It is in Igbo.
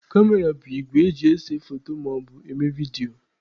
kamera bụ igwe eji ese foto maọbụ eme vidio.